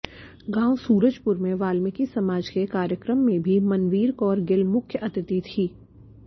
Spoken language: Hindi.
गांव सूरजपुर में वाल्मीकि समाज के कार्यक्रम में भी मनवीर कौर गिल मुख्य अतिथि थी